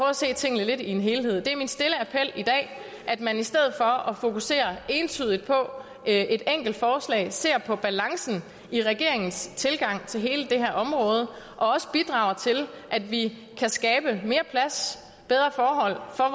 at se tingene lidt i en helhed det er min stille appel i dag at man i stedet for at fokusere entydigt på et enkelt forslag ser på balancen i regeringens tilgang til hele det her område og også bidrager til at vi kan skabe mere plads bedre forhold for